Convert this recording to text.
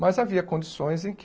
Mas havia condições em que